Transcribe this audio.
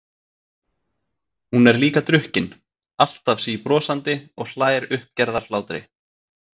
Hún er líka drukkin, alltaf síbrosandi og hlær uppgerðarhlátri.